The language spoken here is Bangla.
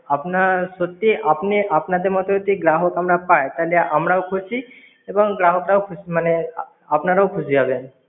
আপনার সত্যি আপনি আপনাদের মত যদি গ্রাহক আমরা পাই, তাহলে আমরাও খুশি এবং গ্রাহকরা খুশি মানে আপনারাও খুশি হবেন।